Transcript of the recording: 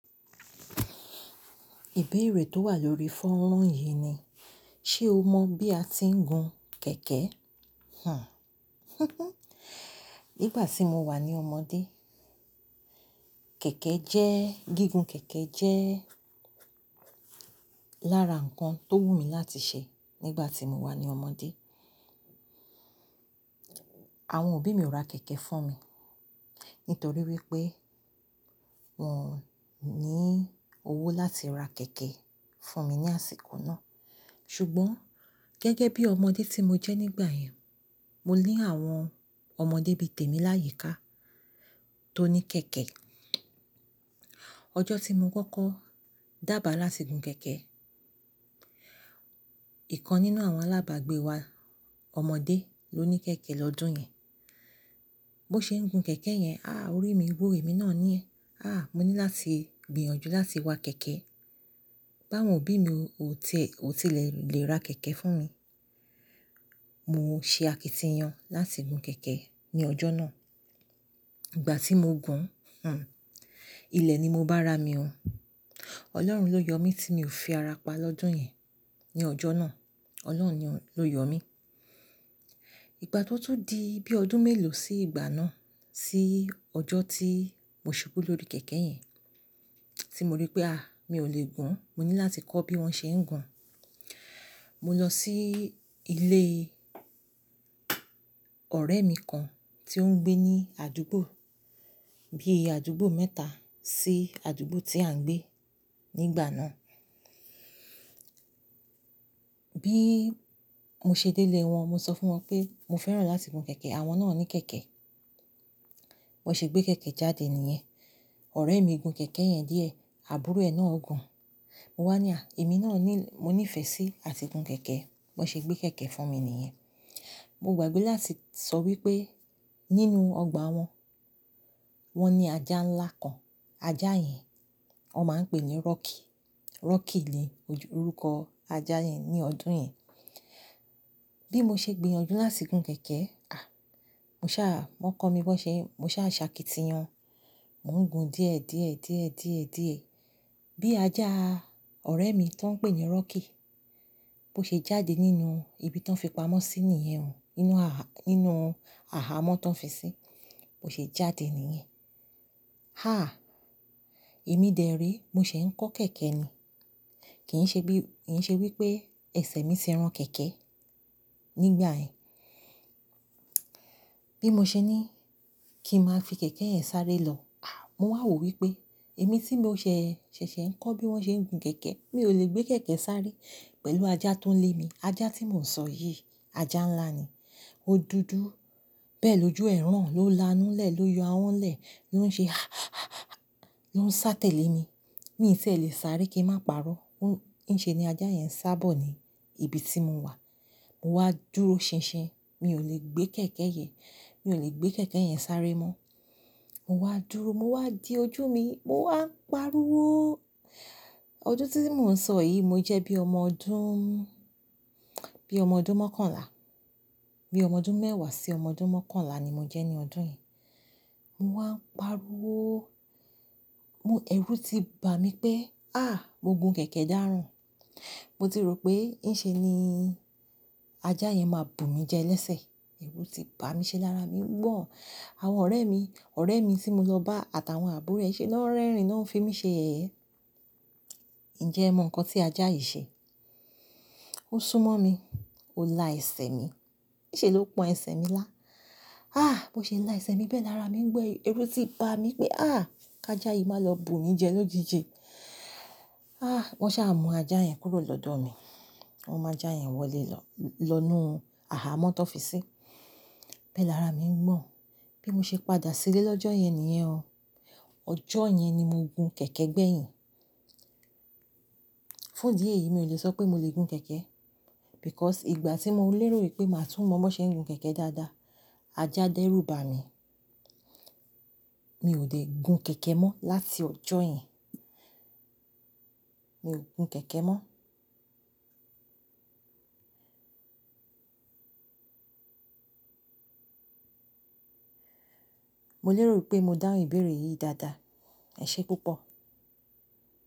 Ìbéèrè tó wà lórí fọ́nrán yìí ni, ṣé o mọ̀ bí a ti ń gun kẹ̀kẹ́? Hmm nígbà tí mo wà ní ọmọdé, kẹ̀kẹ́ jẹ́, gígùn kẹ̀kẹ́ jẹ́ lára nǹkan tó wù mí láti ṣe nígbà tí mo wà ní ọmọdé. Àwọn òbí mi ò ra kẹ̀kẹ́ fún mi, nítorí wípé wọ́n ò ní owó láti ra kẹ̀kẹ́ fún mi ní àsìkò náà. Ṣùgbọ́n gẹ́gẹ́ bí ọmọdé tí mo jẹ́ nígbà yẹn, mo ní àwọn ọmọdé bí tèmi láyìíká tó ní kẹ̀kẹ́. Ọjọ́ tí mo kọ́kọ́ dàbàá láti gun kẹ̀kẹ́, ìkan nínú àwọn alábàgbé wa ọmọdé ló ní kẹ̀kẹ́ lọ́dún yẹn. Bó ṣe ń gun kẹ̀kẹ́ yẹn, a! Orí mi gbó, èmi náà ní ẹ̀, a! Mo ní láti gbìyànjú láti wa kẹ̀kẹ́. Báwọn òbí mi ò tilẹ̀ lè ra kẹ̀kẹ́ fún mi. Mo ṣe àkìntìyan láti gun kẹ̀kẹ́ ní ọjọ́ náà. Ìgbà tí mo gùn, hmm ilẹ̀ ni mo bá ra mi ọ. Ọlọ́run ló yọ mí tí mi ò fi ara pa lọ́jọ́ yẹn, ní ọjọ́ náà. Ọlọ́run ni ló yọ mí. Ìgbà tí ó tún di bí ọdún mélòó sí ìgbà náà, sí ọjọ́ tí mo ṣubú lórí kẹ̀kẹ́ yẹn, tí mo rí pé a! Mi ò lè gùn, mo ní láti kọ́ bí wọ́n ṣe ń gun. Mo lọ sí ilé ọ̀rẹ́ mi kan tí ó ń gbé ní àdúgbò, bí i àdúgbò mẹ́ta sí àdúgbò tí à ń gbé nígbà náà. Bí mo ṣe délé wọn, mo sọ fún wọn pé mo fẹ́ràn láti gun kẹ̀kẹ́, àwọn náà ní kẹ̀kẹ́. Wọ́n ṣe gbé kẹ̀kẹ́ jáde nìyẹn. Ọ̀rẹ́ mi gun kẹ̀kẹ́ yẹn díẹ̀, àbúrò ẹ̀ náà gùn. Mo wá ní à, èmi náà ní, mo ní ìfẹ́ sí àti gun kẹ̀kẹ́. Wọ́n ṣe gbé kẹ̀kẹ́ fún mi nìyẹn. Mo gbàgbé láti sọ wípé nínú ọgbà wọn, wọ́n ní ajá ńlá kan. Ajá yẹn wọ́n máa ń pè ní Rocky. Rocky ni orúkọ ajá yẹn ní ọdún yẹn. Bí mo ṣe gbìyànjú láti gun kẹ̀kẹ́, a! Mo sá, wọ́n kọ́ mi bó ṣe, mo sá ṣàkìntìyan. Mo ń gun díẹ̀, díẹ̀, díẹ̀, díẹ̀, díẹ̀. Bí ajá ọ̀rẹ́ mi tan ń pè ní Rocky, bó ṣe jáde nínú ibi tan fi pamọ́ sí níyẹn o, nínú aha, nínú aha mọ́ tan fi sí, bó ṣe jáde nìyẹn. Ha! Èmi dẹ̀re, mo ṣe ń kọ́ kẹ̀kẹ́ ni. Kì í ṣe bí, kì í ṣe wípé ẹsẹ̀ mi ti ran kẹ̀kẹ́ nígbà yẹn. Bí mo ṣe ní kí ń máa fi kẹ̀kẹ́ yẹn sáré lọ, a! Mo wà wò wípé èmi tí mo ṣẹ̀ṣẹ̀ ń kọ́ bí wọ́n ṣe ń gun kẹ̀kẹ́, mi ò lè gbé kẹ̀kẹ́ sáré pẹ̀lú ajá tó ń lé mi. Ajá tí mò ń sọ yìí, ajá ńlá ni. Odudu. Bẹ́ẹ̀ lójú ẹ̀ràn ló la inú lẹ̀, ló yọ awọ́n lẹ̀, ló ń ṣe a a a ha, ha, ha, ha, ha, ló ń sá tẹ̀lé mi. Mi tí è lè sáré kí n má parọ́. Ǹiṣe ni ajá yẹn sá bọ̀ ní ibi tí mo wà. Mo wá dúró ṣinṣin. Mi ò lè gbé kẹ̀kẹ́ yẹn, mi ò lè gbé kẹ̀kẹ́ yẹn sáré mọ́. Mo wá dúró, mo wá di ojú mi, mo wá ń parúwó. Ọdún tí mò ń sọ yìí, mo jẹ́ bí ọmọ ọdún, bí ọmọ ọdún mọ́kànlá. Bí ọmọ ọdún mẹ́wàá sí ọmọ ọdún mọ́kànlá ni mo jẹ́ ní ọdún yẹn. Mo wá ń parúwó. Mo, ẹrú ti bà mí pé a! Mo gun kẹ̀kẹ́ dàrún. Mo ti rò pé ǹṣe ni ajá yẹn máa bù mí jẹ lẹ́sẹ̀. Ẹrú ti bà mí ṣe lára mi ń gbọ̀n. Àwọn ọ̀rẹ́ mi, ọ̀rẹ́ mi tí mo lọ bá àtàwọn àbúrò ẹ ṣe ló ń rẹ́rìn, ló ń fi mí ṣe ẹ̀yẹ. Ǹjẹ́ ẹ mọ nǹkan tí ajá yìí ṣe? Ó súnmọ́ mi, ó la ẹsẹ̀ mi. Ǹṣe ló pọn ẹsẹ̀ mi lá. A! Mo ṣe la ẹsẹ̀ mi bẹ́ẹ̀ lára mi ń gbọ́n. Ẹrú ti bà mí pé a! Ka ajá yìí má lọ bù mí jẹ lọ́jijì. A! Wọ́n sá mú ajá yẹn kúrò lọ́dọ̀ mi. Wọn mú ajá yẹn wọlé lọ, lọ inú aha mọ́ tó fi sí. Bẹ́ẹ̀ lára mi ń gbọ̀n. Bí mo ṣe padà sílé lọ́jọ́ yẹn nìyẹn o. Ọjọ́ yẹn ni mo gun kẹ̀kẹ́ gbẹ̀yìn. Fún di èyí mi ò lè sọ pé mo lè gun kẹ̀kẹ́. Because ìgbà tí mo lérò wípé màá tún mọ bó ṣe ń gun kẹ̀kẹ́ dáadáa, ajá dẹ́rù bà mí. Mi ò dé gun kẹ̀kẹ́ mọ́ láti ọjọ́ yẹn. Mi ò gun kẹ̀kẹ́ mọ́. Mo lérò wípé mo dáhùn ìbéèrè yìí dáadáa. Ẹ̀ṣé púpọ̀.